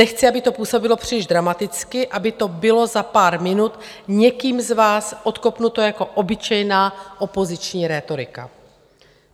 Nechci, aby to působilo příliš dramaticky, aby to bylo za pár minut někým z vás odkopnuto jako obyčejná opoziční rétorika.